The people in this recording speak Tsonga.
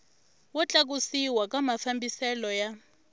wo tlakusiwa ka mafambiselo ya